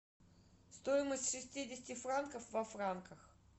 стоимость шестидесяти франков во франках